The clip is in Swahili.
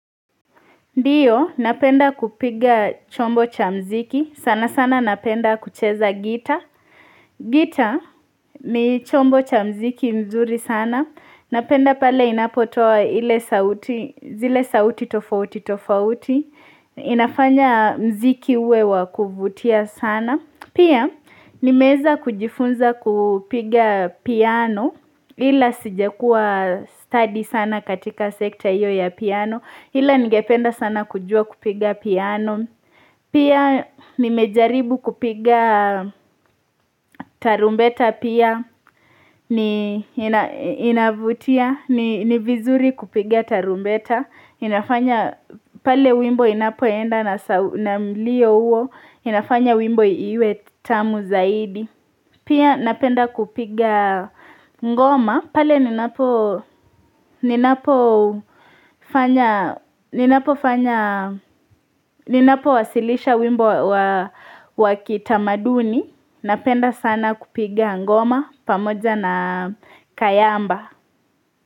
Ndiyo, napenda kupiga chombo cha muziki, sana sana napenda kucheza gitaa, gitaa ni chombo cha muziki mzuri sana, napenda pale inapotoa ile sauti zile sauti tofauti tofauti, inafanya muziki uwe wa kuvutia sana. Pia nimeweza kujifunza kupiga piano ila sijakuwa stadi sana katika sekta hiyo ya piano ila ningependa sana kujua kupiga piano pia nimejaribu kupiga tarumbeta pia ni inavutia ni ni vizuri kupiga tarumbeta inafanya pale wimbo inapoenda na mlio huo inafanya wimbo iwe tamu zaidi pia napenda kupiga ngoma pale ninapo ninapowasilisha wimbo wa wa kitamaduni napenda sana kupiga ngoma pamoja na kayamba.